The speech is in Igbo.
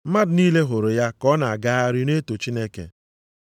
Mmadụ niile hụrụ ya ka ọ na-agagharị na-eto Chineke,